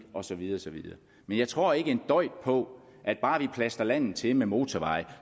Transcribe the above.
og så videre men jeg tror ikke en døjt på at bare vi plastrer landet til med motorveje